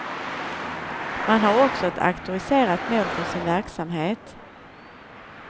Man har också ett auktoriserat mål för sin verksamhet.